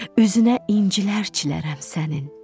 Üzünə incilər çilərəm sənin.